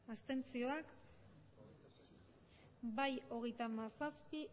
abstenzioak emandako botoak hirurogeita hamabost bai hogeita hamazazpi